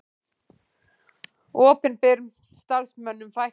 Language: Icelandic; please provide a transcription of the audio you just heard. Opinberum starfsmönnum fækkar